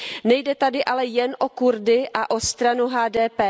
Nejde tady ale jen Kurdy a o stranu HDP.